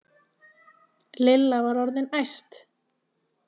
Lilla var orðin æst.